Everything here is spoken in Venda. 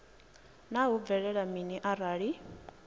naa hu bvelela mini arali